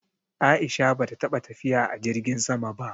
A'isha bata taɓa tafiya a jirgin sama ba.